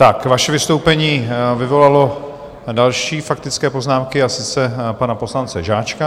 Tak vaše vystoupení vyvolalo další faktické poznámky, a sice pana poslance Žáčka.